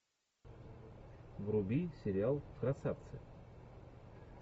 вруби сериал красавцы